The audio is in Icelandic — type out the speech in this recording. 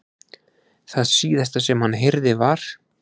Það síðasta sem hann heyrði var.